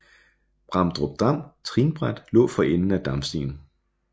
Bramdrupdam Trinbræt lå for enden af Damstien